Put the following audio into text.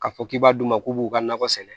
K'a fɔ k'i b'a dun u k'u b'u ka nakɔ sɛnɛ